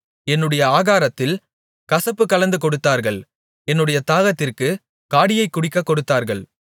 என்னுடைய ஆகாரத்தில் கசப்பு கலந்து கொடுத்தார்கள் என்னுடைய தாகத்திற்குக் காடியைக் குடிக்கக் கொடுத்தார்கள்